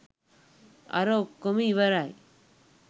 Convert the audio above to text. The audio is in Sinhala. අර ඔක්කොම ඉවරයි